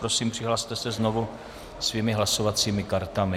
Prosím, přihlaste se znovu svými hlasovacími kartami.